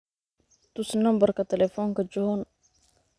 tus nambarka telefonka john